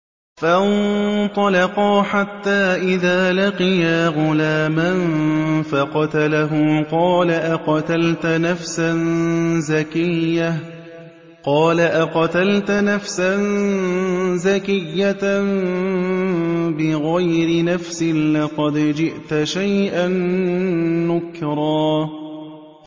فَانطَلَقَا حَتَّىٰ إِذَا لَقِيَا غُلَامًا فَقَتَلَهُ قَالَ أَقَتَلْتَ نَفْسًا زَكِيَّةً بِغَيْرِ نَفْسٍ لَّقَدْ جِئْتَ شَيْئًا نُّكْرًا